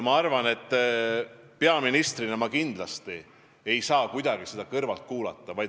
Peaministrina ma kindlasti ei saa seda lihtsalt niisama kuulata.